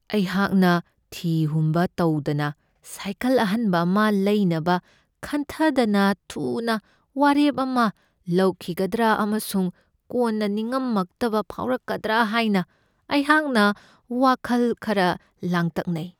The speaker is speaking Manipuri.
ꯑꯩꯍꯥꯛꯅ ꯊꯤ ꯍꯨꯝꯕ ꯇꯧꯗꯅ ꯁꯥꯏꯀꯜ ꯑꯍꯟꯕ ꯑꯃ ꯂꯩꯅꯕ ꯈꯟꯊꯗꯅ ꯊꯨꯅ ꯋꯥꯔꯦꯞ ꯑꯃ ꯂꯧꯈꯤꯒꯗ꯭ꯔꯥ ꯑꯃꯁꯨꯡ ꯀꯣꯟꯅ ꯅꯤꯉꯝꯃꯛꯇꯕ ꯐꯥꯎꯔꯛꯀꯗ꯭ꯔꯥ ꯍꯥꯏꯅ ꯑꯩꯍꯥꯛꯅ ꯋꯥꯈꯜ ꯈꯔ ꯂꯥꯡꯇꯛꯅꯩ ꯫